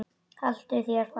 Haltu þér fast.